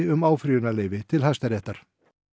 um áfrýjunarleyfi til Hæstaréttar